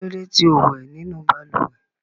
Kí ló dé tí ò wẹ̀ nínú balùwẹ̀?